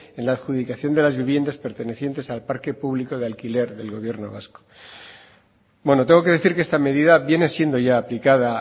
en la adjudicación de las viviendas pertenecientes al parque público de alquiler del gobierno vasco bueno tengo que decir que esta medida viene siendo ya aplicada